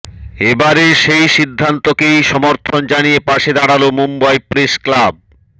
এবারে সেই সিদ্ধান্তকেই সমর্থন জানিয়ে পাশে দাঁড়াল মুম্বই প্রেস ক্লাব